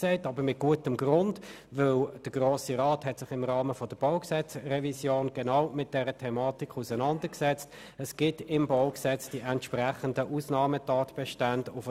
Aber dies mit gutem Grund, denn der Grosse Rat hat sich im Rahmen der BauG-Revision genau mit dieser Thematik auseinandergesetzt, und das BauG weist die entsprechenden Ausnahmetatbestände auf.